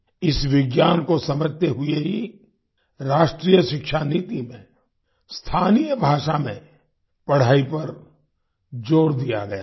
इस विज्ञान को समझते हुए ही राष्ट्रीय शिक्षा नीति में स्थानीय भाषा में पढ़ाई पर जोर दिया गया है